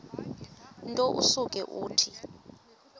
nto usuke uthi